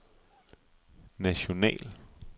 national